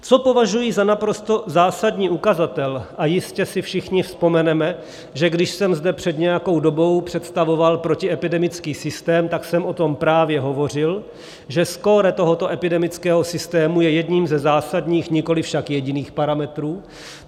Co považuji za naprosto zásadní ukazatel, a jistě si všichni vzpomeneme, že když jsem zde před nějakou dobou představoval protiepidemický systém, tak jsem o tom právě hovořil, že skóre tohoto epidemického systému je jedním ze zásadních, nikoli však jediných parametrů.